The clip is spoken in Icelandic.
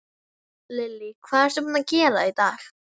Lillý: Hvað ertu búinn að gera í dag?